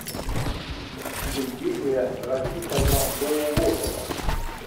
евгения рафисовна доулотова